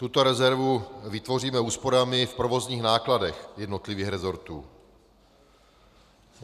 Tuto rezervu vytvoříme úsporami v provozních nákladech jednotlivých resortů.